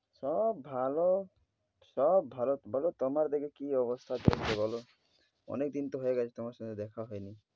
সব ভালো সব ভালো তো ভালো। বলো তোমার ওদিকে কী অবস্থা চলছে বলো। অনেক দিন তো হয়ে গেছে তোমার সঙ্গে দেখা হয়নি।